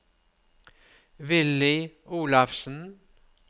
Villy Olafsen